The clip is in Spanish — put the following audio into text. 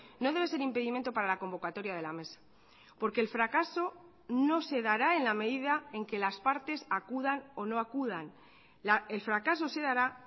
no debe ser impedimento para la convocatoria de la mesa porque el fracaso no se dará en la medida en que las partes acudan o no acudan el fracaso se dará